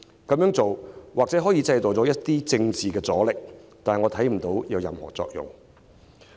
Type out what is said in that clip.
這樣做或許可以製造一些政治阻力，但我卻看不到有任何作用。